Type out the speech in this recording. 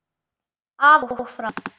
Af og frá!